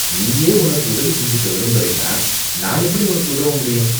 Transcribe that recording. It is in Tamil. நீயே உனக்கு உதவி செஞ்சுக்க விரும்பலைன்னா நான் எப்படி உனக்கு உதவ முடியும்.